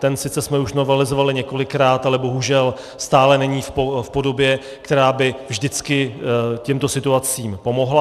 Ten sice jsme už novelizovali několikrát, ale bohužel stále není v podobě, která by vždycky těmto situacím pomohla.